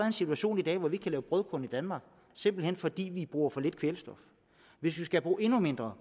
en situation hvor vi ikke kan lave brødkorn i danmark simpelt hen fordi vi bruger for lidt kvælstof hvis vi skal bruge endnu mindre